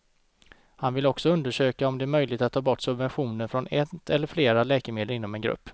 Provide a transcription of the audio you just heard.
Han vill också undersöka om det är möjligt att ta bort subventionen från ett eller flera läkemedel inom en grupp.